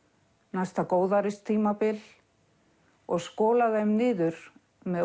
næsta góðæristímabil og skola þeim niður með